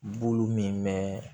Bulu min bɛ